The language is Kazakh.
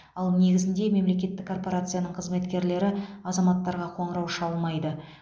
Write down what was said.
ал негізінде мемлекеттік корпорацияның қызметкерлері азаматтарға қоңырау шалмайды